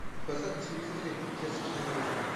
поставь на телевизоре детский мир